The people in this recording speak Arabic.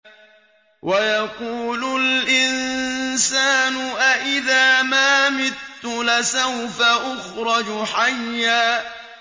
وَيَقُولُ الْإِنسَانُ أَإِذَا مَا مِتُّ لَسَوْفَ أُخْرَجُ حَيًّا